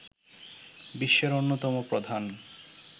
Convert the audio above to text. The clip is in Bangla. বিশ্বের অন্যতম প্রধান